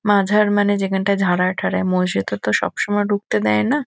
মাঝার মানে যেখানটায় ঝাড়ায় ঠাড়ায় মসজিদে তো সবসময় ঢুকতে দেয় না।